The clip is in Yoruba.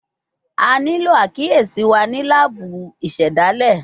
A nilo akiyesi wa ni laabu isedale